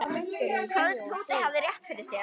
Hvað ef Tóti hefði rétt fyrir sér?